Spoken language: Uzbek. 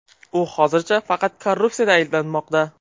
U hozircha faqat korrupsiyada ayblanmoqda.